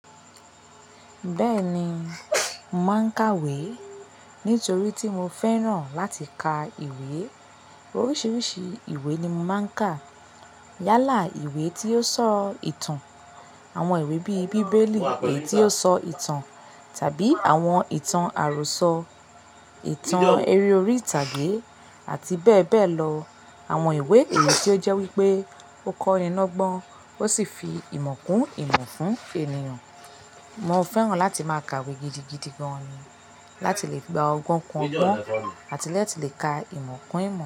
Bẹ́ẹ̀ni, mo màá ń kàwé nítorí tí mo fẹ́ràn láti ka ìwé. Oríṣiríṣi ìwé ni màá ń kà. Yálà ìwé tí ó sọ ìtàn, àwọn ìwé bí i bíbélì, ìwé tí ó sọ ìtàn tàbí àwọn ìtàn àròsọ, ìtàn eré orí ìtàgé àti bẹ́ẹ̀ bẹ́ẹ̀ lọ. Àwọn ìwé èyí tí ó jẹ́ wípé ó kọ́ni lọ́gbọ́n ó sì fi ìmọ̀ kún ìmọ̀ fún ènìyàn. Mo fẹ́ràn láti máa kàwé gidigidi gan ni láti lè gba ọgbọ́n kún ọgbọ́n àti láti lè ka ìmọ̀ kún ìmọ̀